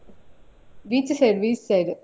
Beach side beach side.